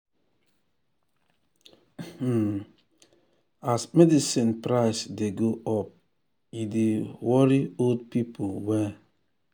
um as medicine price dey go up e dey worry old people well.